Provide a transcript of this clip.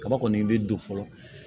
Kaba kɔni bɛ don fɔlɔ